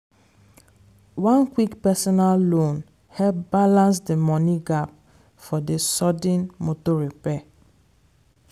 one quick personal loan help balance d money gap for dey sudden motor repair.